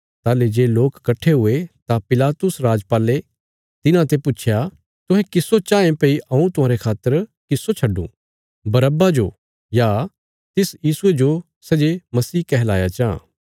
ताहली जे लोक कट्ठे हुये तां पिलातुस राजपाले तिन्हांते पुच्छया तुहें किस्सो चाँये भई हऊँ तुहांरे खातर किस्सो छडूं बरअब्बा जो या तिस यीशुये जो सै जे मसीह कहलाया जां